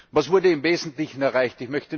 Was wurde im Wesentlichen erreicht?